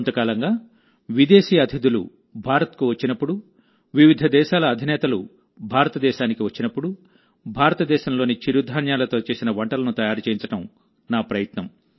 కొంతకాలంగా విదేశీ అతిథులు భారత్కు వచ్చినప్పుడు వివిధ దేశాల అధినేతలు భారతదేశానికి వచ్చినప్పుడుభారతదేశంలోని చిరుధాన్యాలతో చేసిన వంటలను తయారుచేయించడం నా ప్రయత్నం